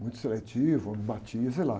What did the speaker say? Muito seletivo, ou não batia, sei lá.